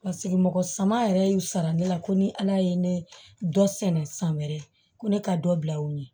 Paseke mɔgɔ sama yɛrɛ y'u sara ne la ko ni ala ye ne dɔ sɛnɛ san wɛrɛ ko ne ka dɔ bila u ye